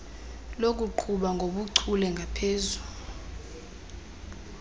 lokuqhuba ngobuchule ngaphezu